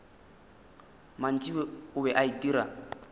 mantši o be a itira